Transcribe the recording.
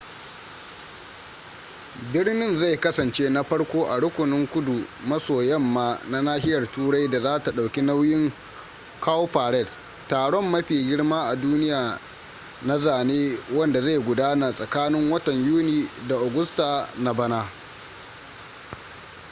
birnin zai kasance na farko a rukunin kudu maso yamma na nahiyar turai da zata dauki nauyin cowparade taron mafi girma a duniya na zane wanda zai gudana tsakanin watan yuni da agusta na bana